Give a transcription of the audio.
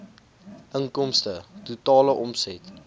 inkomste totale omset